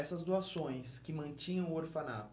Essas doações que mantinham o orfanato,